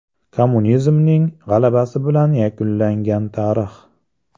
Kommunizmning g‘alabasi bilan yakunlangan tarix.